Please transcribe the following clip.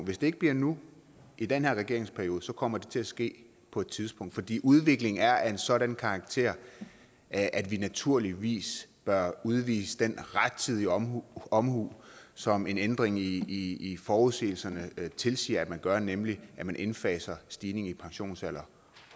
hvis det ikke bliver nu i den her regeringsperiode kommer det til at ske på et tidspunkt fordi udviklingen er af en sådan karakter at vi naturligvis bør udvise den rettidige omhu omhu som en ændring i i forudsigelserne tilsiger at man gør nemlig at man indfaser stigningen i pensionsalderen